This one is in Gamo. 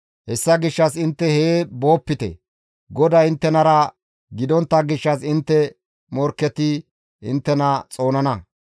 Hessa gishshas intte hee boopite GODAY inttenara gidontta gishshas intte morkketi inttena xoonana.